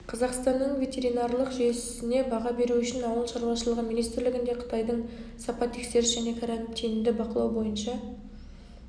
қазақстанның ветеринарлық жүйесіне баға беру үшін ауыл шаруашылығы министрлігінде қытайдың сапа тексеріс және карантинді бақылау бойынша